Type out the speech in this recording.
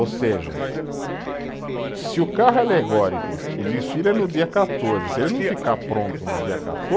Ou seja, se o carro alegórico, o desfile é no dia quatorze, se ele não ficar pronto no dia